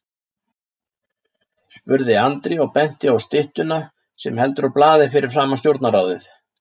spurði Andri og benti á styttuna sem heldur á blaði fyrir framan Stjórnarráðið.